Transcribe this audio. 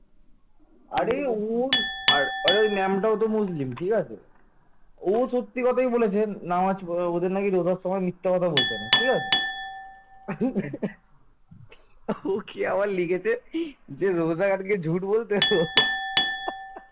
ও কি আবার লিখেছে যে रोजा करके झूठ बोलते हो